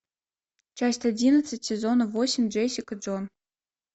часть одиннадцать сезона восемь джессика джонс